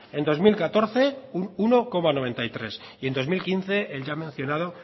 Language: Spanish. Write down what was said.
en dos mil catorce un uno coma noventa y tres y en dos mil quince el ya mencionado